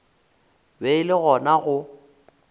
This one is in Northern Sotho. be e le gona go